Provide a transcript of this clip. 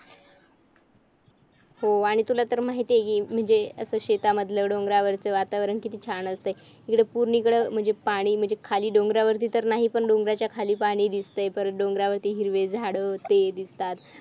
हो आणि तुलातर माहित आहे कि म्हणजे असं शेतामधलं डोंगरावरच वातावरण किती छान असतय इकडं पूर्ण इकडे म्हणजे पाणी म्हणजे खाली डोंगरावरती तर नाही पण डोंगराच्या खाली पाणी दिसतंय परत डोंगरावरती हिरवे झाडे ते दिसतात